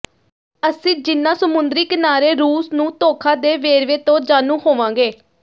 ਅਸੀਂ ਜਿਨ੍ਹਾਂ ਸਮੁੰਦਰੀ ਕਿਨਾਰੇ ਰੂਸ ਨੂੰ ਧੋਖਾ ਦੇ ਵੇਰਵੇ ਤੋਂ ਜਾਣੂ ਹੋਵਾਂਗੇ